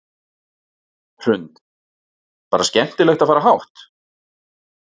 Hrund: Bara skemmtilegt að fara hátt?